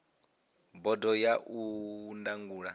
bodo ya ndangulo ya cma